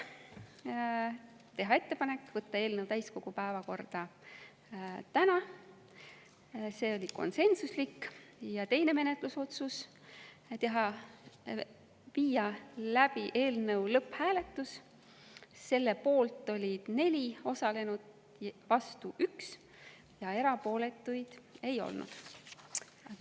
Esiteks, teha ettepanek võtta eelnõu täiskogu päevakorda täna, see otsus oli konsensuslik, ja teine menetlusotsus oli see, et viia läbi eelnõu lõpphääletus, selle poolt oli 4 osalenut, vastu 1 ja erapooletuid ei olnud.